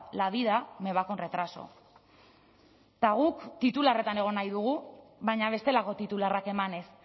la vida me va con retraso eta guk titularretan egon nahi dugu baina bestelako titularrak emanez